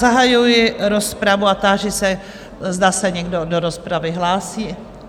Zahajuji rozpravu a táži se, zda se někdo do rozpravy hlásí?